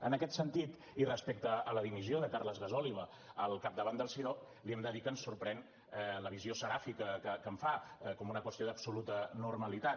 en aquest sentit i respecte a la dimissió de carles gasòliba al capdavant del cidob li hem de dir que ens sorprèn la visió seràfica que en fa com una qüestió d’absoluta normalitat